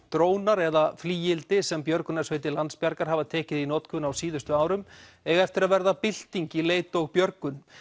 drónar eða flygildi sem björgunarsveitir Landsbjargar hafa tekið í notkun á síðustu árum eiga eftir að verða bylting í leit og björgun